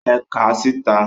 É kàà síta!